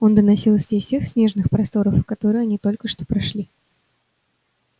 он доносился из тех снежных просторов которые они только что прошли